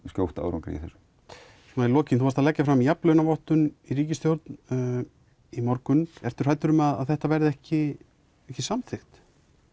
skjótt árangri í þessu í lokin þú varst að leggja fram jafnlaunavottun í ríkisstjórninni í morgun ertu hræddur um að þetta verði ekki ekki samþykt